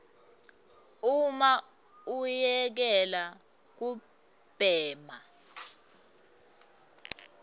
uma uyekela kubhema